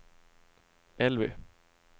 Elvy